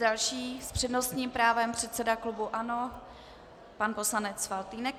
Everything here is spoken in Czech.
Další s přednostním právem, předseda klubu ANO pan poslanec Faltýnek.